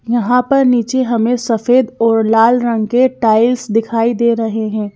यहां पर नीचे हमें सफेद और लाल रंग के टाइल्स दिखाई दे रहे हैं।